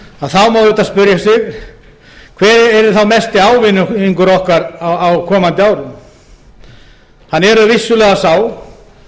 má auðvitað spyrja sig hver yrði þá mesti ávinningur okkar á komandi árum hann er vissulega sá